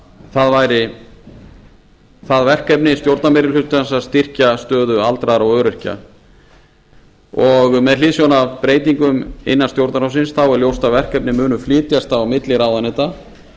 það væri verkefni stjórnarmeirihlutans að styrkja stöðu aldraðra og öryrkja með hliðsjón af breytingum innan stjórnarráðsins er ljóst að verkefni munu flytjast á milli ráðuneyta